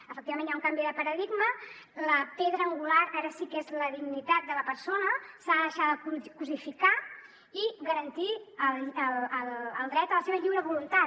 efectivament hi ha un canvi de paradigma la pedra angular ara sí que és la dignitat de la persona s’ha de deixar de cosificar i garantir el dret a la seva lliure voluntat